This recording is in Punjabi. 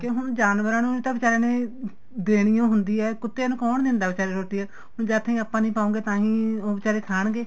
ਹੁਣ ਜਾਨਵਰਾ ਨੂੰ ਤਾਂ ਬਿਚਾਰੀਆਂ ਨੇ ਦੇਣੀ ਓ ਹੁੰਦੀ ਏ ਕੁੱਤੀਆਂ ਨੂੰ ਕੋਣ ਦੇਂਦਾ ਬੀਚਾਰੇ ਰੋਟੀ ਹੁਣ ਜਦ ਤੱਕ ਆਪਾਂ ਨੀ ਪਾਉਗੇ ਤਾਹੀ ਉਹ ਬੀਚਾਰੇ ਖਾਣਗੇ